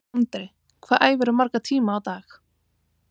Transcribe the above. Andri: Hvað æfirðu marga tíma á dag?